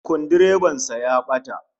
Sukuldireban sa ya bata